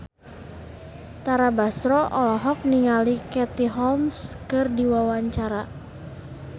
Tara Basro olohok ningali Katie Holmes keur diwawancara